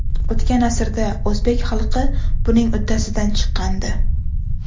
O‘tgan asrda o‘zbek xalqi buning uddasidan chiqqandi.